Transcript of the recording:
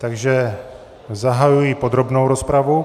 Takže zahajuji podrobnou rozpravu.